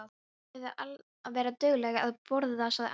Þú verður að vera dugleg að borða, sagði amma.